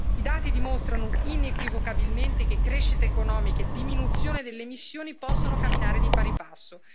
I dati dimostrano, inequivocabilmente, che crescita economica e diminuzione delle emissioni possono camminare di pari passo.